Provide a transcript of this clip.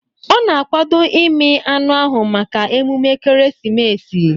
Ọ na-akwado ịmị anụ ahụ maka emume ekeresimesi